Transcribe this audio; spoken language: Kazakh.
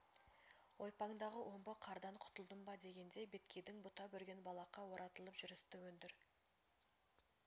ойпаңдағы омбы қардан құтылдым ба дегенде беткейдің бұта-бүрген балаққа оратылып жүрісті өндір